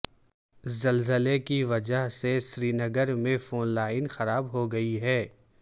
زلزلے کی وجہ سے سرینگر میں فون لائن خراب ہو گئی ہیں